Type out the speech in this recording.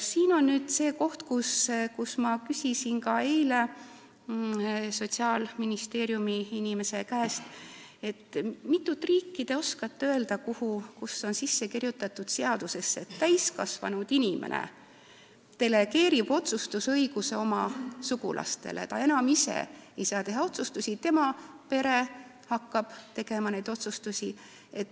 Siin on nüüd see koht, mille kohta ma küsisin eile Sotsiaalministeeriumi inimese käest, et kui mitut riiki ta oskab öelda, kus on seadusesse kirjutatud, et täiskasvanud inimene delegeerib otsustusõiguse oma sugulastele, ta ise enam ei saa otsustusi teha ja tema pere hakkab neid tegema.